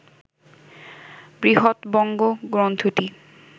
"বৃহৎবঙ্গ" গ্রন্থটি